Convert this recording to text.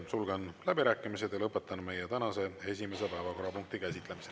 Sulgen läbirääkimised ja lõpetan meie tänase esimese päevakorrapunkti käsitlemise.